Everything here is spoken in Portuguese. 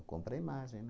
Compra a imagem,